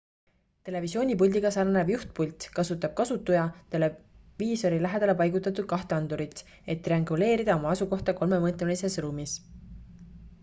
televisioonipuldiga sarnanev juhtpult kasutab kasutuja televiisori lähedale paigutatud kahte andurit et trianguleerida oma asukohta kolmemõõtmelises ruumis